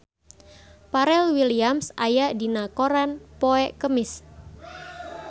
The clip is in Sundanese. Pharrell Williams aya dina koran poe Kemis